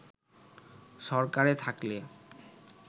সরকারে থাকলে